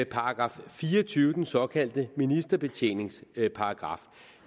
§ fire og tyve den såkaldte ministerbetjeningsparagraf